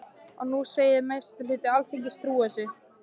Og nú segið þið að meiri hluti Alþingis trúi þessu.